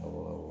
Awɔ